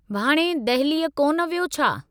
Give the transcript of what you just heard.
भाणे दहलीअ कोन वियो छा?